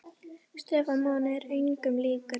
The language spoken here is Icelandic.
Stefán Máni er engum líkur.